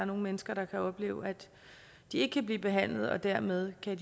mennesker der oplever at de ikke kan blive behandlet og dermed kan